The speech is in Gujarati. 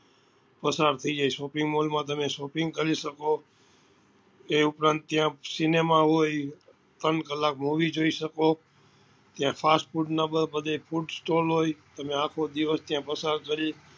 પસાર થઇ જાય shopping mall માં તમે shopping કરી શકો એ ઉપરાંત ત્યાં cinema હોય ત્રણ કલાક movie જોઈ શકો ત્યાં fast food નાં બધે food stole હોય તમે આખો દિવસ ત્યાં પસાર કરી